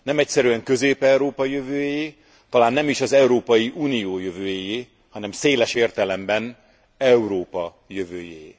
Nem egyszerűen Közép Európa jövőjéé, talán nem is az Európai Unió jövőjéé, hanem széles értelemben Európa jövőjéé.